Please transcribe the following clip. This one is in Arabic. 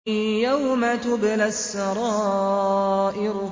يَوْمَ تُبْلَى السَّرَائِرُ